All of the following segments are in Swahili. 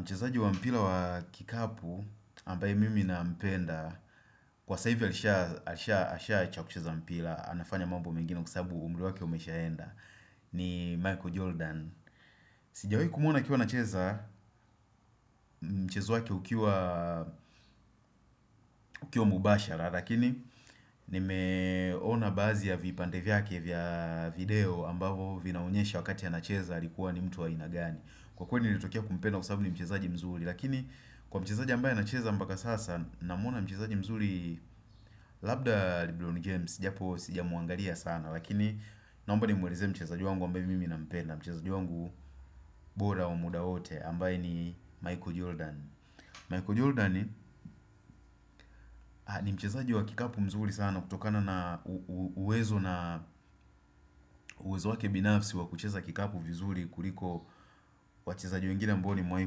Mchezaji wa mpira wa kikapu, ambaye mimi nampenda, kwa saa hivi alisha, asha asha acha kucheza mpira, anafanya mambo mengine kwa sababu umri wake umeshaenda, ni Michael Jordan Sijawahi kumwona akiwa anacheza, mchezo wake ukiwa, ukiwa mbashara, lakini, nimeona baadhi ya vipande vyake vya video ambavo vinaonyesha wakati anacheza alikuwa ni mtu wa aina gani Kwa kweli nilitokea kumpenda kwa sababu ni mchezaji mzuri Lakini kwa mchezaji ambaye anacheza mpaka sasa Namwona mchezaji mzuri Labda Lebron James japo sijamwangalia sana Lakini naomba nimueleze mchezaji wangu ambaye mimi nampenda Mchezaji wangu bora wa muda wote ambaye ni Michael Jordan Michael Jordan ni mchezaji wa kikapu mzuri sana kutokana na uwezo na uwezo wake binafsi wa kucheza kikapu vizuri kuliko wachezaji wengine ambao nimewahi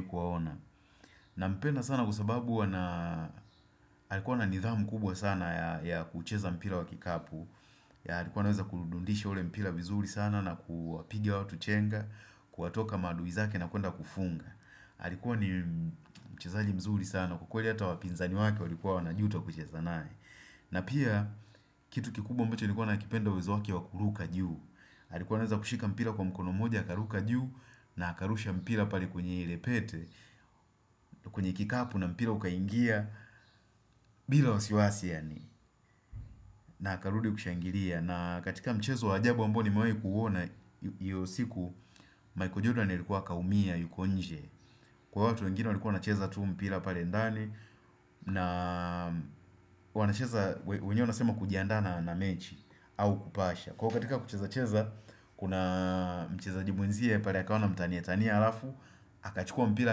kuwaona Nampenda sana kwa sababu ana alikuwa na nidhamu kubwa sana ya kucheza mpira wa kikapu alikuwa anaweza kudundishi ule mpira vizuri sana na kuwapigia watu chenga Kuwatoka maadui zake na kuenda kufunga alikuwa ni mchezaji mzuri sana kwa kweli hata wapinzani wake walikuwa wanajuta kucheza naye na pia kitu kikubwa ambacho nilikuwa nakipenda uwezo wake wa kuruka juu Alikuwa anaweza kushika mpira kwa mkono moja, akaruka juu na akarusha mpira pale kwenye ile pete kwenye kikapu na mpira ukaingia bila wasiwasi yani na akarudi kushangilia na katika mchezo wa ajabu ambao nimewahi kuona iyo siku Michael Jordan alikuwa akaumia yuko nje Kwa watu wengine walikuwa wanacheza tu mpira pale ndani na wanacheza wenyewe wanasema kujiandaa na na mechi au kupasha Kwa katika kucheza cheza Kuna mchezaji mwenziye pale akaona amtanie tanie alafu akachukua mpira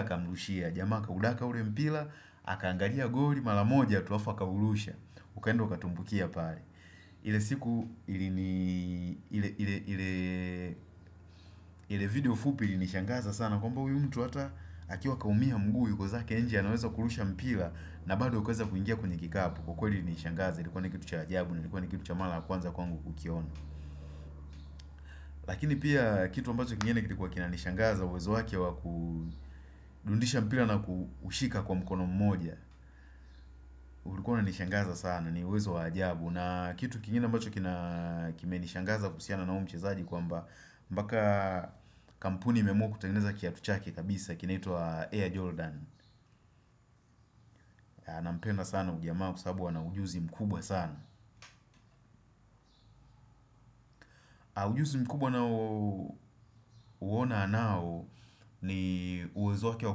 akamrushia jamaa aka udaka ule mpira akaangalia goli mara moja tu alafu akaurusha Ukaenda ukatumbukia pale ile siku ilini ile video fupi ilinishangaza sana kwamba huyu mtu hata akiwa akaumia mguu yuko zake nje anaweza kurusha mpira na bado ukaeza kuingia kwenye kikapu kwa kweli ilinishangaza ilikuwa ni kitu cha ajabu ilikuwa ni kitu cha mara kwanza kwangu kukiona Lakini pia kitu ambacho kingine kilikuwa kinanishangaza uwezo wake kurudisha mpira na kushika kwa mkono mmoja ulikuwa unanishangaza sana ni uwezo wa ajabu na kitu kingine ambacho kina kimenishangaza kuhusiana na huyu mchezaji kwamba mpaka kampuni imeamua kutengeneza kiatu chake kabisa kinaitwa Air Jordan Nampenda sana huyu jamaa kwa sababu ana ujuzi mkubwa sana Ujuzi mkubwa nao uona anao ni uwezo wake wa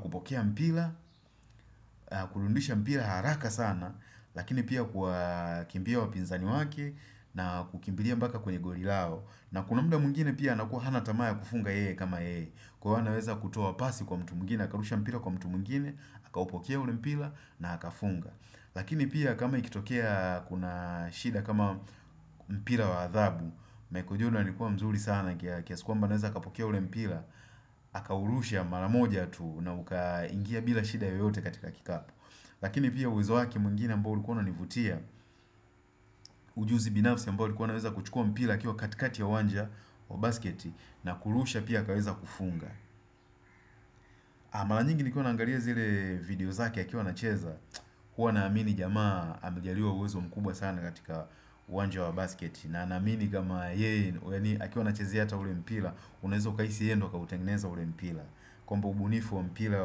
kupokea mpira kurudisha mpira ya haraka sana Lakini pia kuwa kimbia wapinzani wake na kukimbilia mpaka kwenye goli lao na kuna muda mwingine pia anakuwa hana tamaa ya kufunga yeye kama yeye kuwa anaweza kutoa pasi kwa mtu mwingine, akarusha mpira kwa mtu mwingine, aka upokea ule mpira na akafunga Lakini pia kama ikitokea kuna shida kama mpira wa adhabu Michael Jordan alikuwa mzuri sana kiasi kwamba anaweza akapokea ule mpira akaurusha mara moja tu na ukaingia bila shida yoyote katika kikapu Lakini pia uwezo wake mwingine ambao ulikuwa unanivutia Ujuzi binafsi ambayo alikuwa anaweza kuchukua mpira akiwa katikati ya uwanja wa basket na kurusha pia akaweza kufunga mara nyingi nikiwa naangalia zile video zake akiwa anacheza huwa na amini jamaa amejaliwa uwezo mkubwa sana katika uwanja wa basket na amini kama yeye akiwa anacheza hata ule mpira Unaeza ukahisi yeye ndio kautengeneza ule mpira kwamba ubunifu wa mpira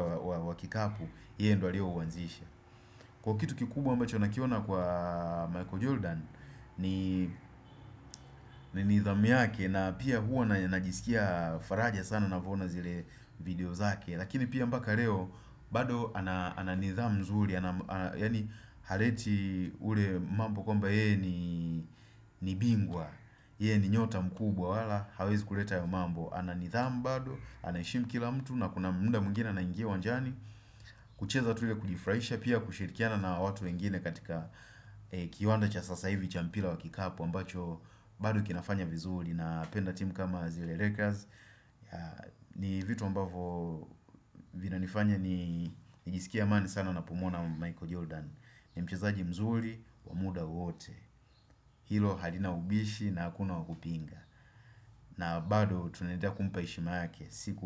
wa kikapu yeye ndio alio uanzisha Kwa kitu kikubwa ambacho nakiona kwa Michael Jordan ni nidhamu yake na pia huwa na najisikia faraja sana navo ona zile video zake Lakini pia mpaka leo bado ananidhamu mzuri ana yani haleti ule mambo kwamba yeye ni bingwa Yeye ni nyota mkubwa wala hawezi kuleta mambo ana nidhamu bado, anaheshimu kila mtu na kuna muda mwingine anaingia uwanjani kucheza tu ile kujifurahisha pia kushirikiana na watu wengine katika kiwanda cha sasa hivi cha mpira wa kikapu ambacho bado kinafanya vizuri napenda timu kama zile Lakers ni vitu ambavo vinanifanya nijisikie amani sana napomwona Michael Jordan ni mchezaji mzuri wa muda wote Hilo halina ubishi na hakuna wa kupinga na bado tunaendelea kumpa heshima yake siku.